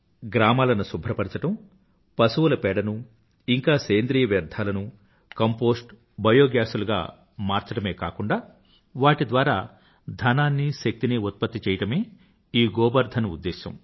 గ్రామాలను శుభ్రపరచడం పశువుల పేడను ఇంకా సేంద్రీయ వ్యర్థాలను కంపోస్ట్ బయోగాస్ లుగా మార్చడమే కాక వాటి ద్వారా ధనాన్ని శక్తినీ ఉత్పత్తి చెయ్యడమే ఈ గోబర్ధన్ ఉద్దేశ్యం